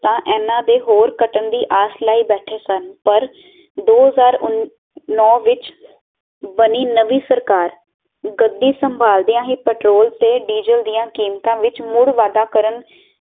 ਇਹਨਾਂ ਦੀ ਹੋਰ ਕੱਟਣ ਦੀ ਆਸ ਲਈ ਬੈਠੇ ਸਨ ਪਰ ਦੋ ਹਜ਼ਾਰ ਨੌਂ ਵਿੱਚ ਬਣੀ ਨਮੀ ਸਰਕਾਰ ਗੜੀ ਸਮਬਾਲਦਿਆਂ ਹੀ ਪਟਰੋਲ ਤੇ ਡੀਜ਼ਲ ਦੀਆਂ ਕੀਮਤਾਂ ਵਿੱਚ ਮੁੜ ਵਾਧਾ ਕਰਨ